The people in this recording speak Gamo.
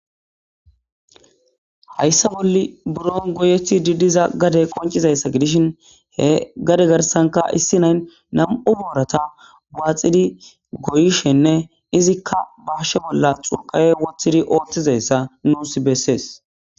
Hayssa bolli buro goyethi didiza gade qoncizayssa gidishin he gade garsanka issi nayn nam7u boorata waaxidi goyishenne izikka bahashe bolla xuqawe woththidi oothtizayssa nuus bessees